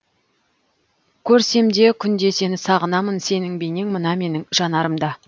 көрсем де күнде сені сағынамын сенің бейнең мына менің жанарымда